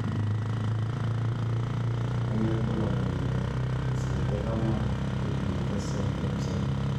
Kanyio ibulabul le Xeroderma pigmentosum type 7?